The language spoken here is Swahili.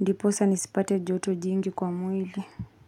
Ndiposa nisipate joto jingi kwa mwili.